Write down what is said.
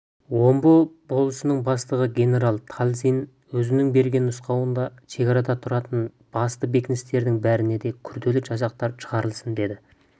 омбы болысының бастығы генерал талызин өзінің берген нұсқауында шекарада тұртын басты бекіністердің бәріне де күрделі жасақтар шығарылсын дейді